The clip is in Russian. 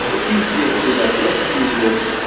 пиздец ребят просто пиздец